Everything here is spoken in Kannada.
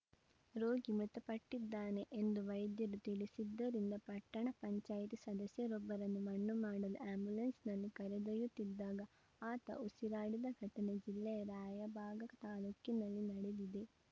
ರೋಗಿ ಮೃತಪಟ್ಟಿದ್ದಾನೆ ಎಂದು ವೈದ್ಯರು ತಿಳಿಸಿದ್ದರಿಂದ ಪಟ್ಟಣ ಪಂಚಾಯ್ತಿ ಸದಸ್ಯರೊಬ್ಬರನ್ನು ಮಣ್ಣು ಮಾಡಲು ಆ್ಯಂಬುಲೆನ್ಸ್‌ನಲ್ಲಿ ಕರೆದೊಯ್ಯುತ್ತಿದ್ದಾಗ ಆತ ಉಸಿರಾಡಿದ ಘಟನೆ ಜಿಲ್ಲೆಯ ರಾಯಬಾಗ ತಾಲೂಕಿನಲ್ಲಿ ನಡೆದಿದೆ